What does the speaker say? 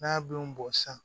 N'a denw bɔn sisan